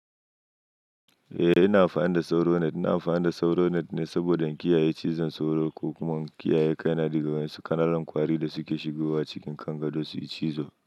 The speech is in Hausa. Eh ina amfani da sauro net, ina amfani da sauro net ne saboda in kiyaye cizon sauro ko kuma kiyaye kaina daga wasu ƙananan kwari da suke shigowa cikin kan gado su yi cizo.